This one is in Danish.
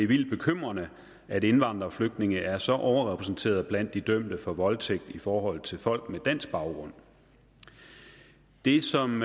vildt bekymrende at indvandrere og flygtninge er så overrepræsenteret blandt de dømte for voldtægt i forhold til folk med dansk baggrund det som